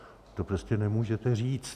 To prostě nemůžete říct.